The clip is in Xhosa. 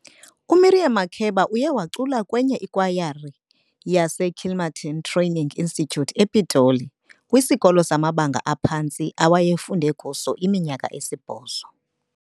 uMiriam Makeba uye wacula kwenye ikwayara wase Kilmerton training Istitution ePitoli, kwisikolo sama banga aphantsi aweye funde kuso iminyaka eSibhozo.